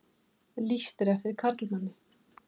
Lýst eftir karlmanni